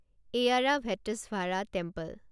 Airavatesvara temple